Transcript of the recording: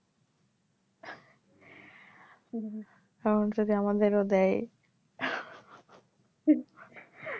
তাও যদি আমাদেরও দেয়